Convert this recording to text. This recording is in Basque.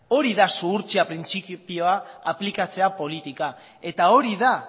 hori da zuhurtzia printzipioa aplikatzea politikan eta hori da